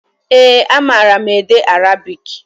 Ee, a mara m ede arabik.